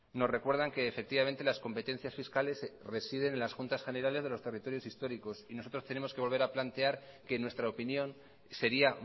nos recuerdan que efectivamente las competencias fiscales residen en las juntas generales de los territorios históricos y nosotros tenemos que volver a plantear que nuestra opinión sería